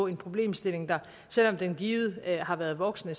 en problemstilling der selv om den givet har været voksende